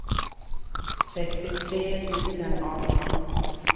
sextiotre tusen arton